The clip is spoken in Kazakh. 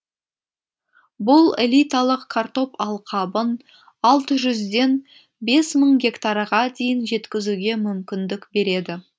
бұл элиталық картоп алқабын алты жүзден бес мың гектарға дейін жеткізуге мүмкіндік береді